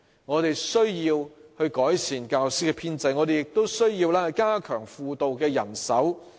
我們需要改善教師編制，亦需要加強輔導人手。